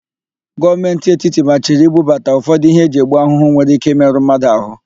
Gọọmenti etiti machiri ibubata ụfọdụ íhé eji egbu ahụhụ nwere íké ịmerụ mmadụ ahụ.